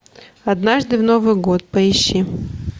однажды в новый год поищи